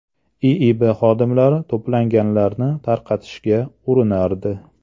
IIB xodimlari to‘planganlarni tarqatishga urinardi.